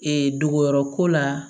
Ee dogoyɔrɔ ko la